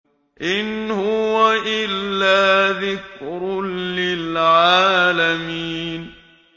إِنْ هُوَ إِلَّا ذِكْرٌ لِّلْعَالَمِينَ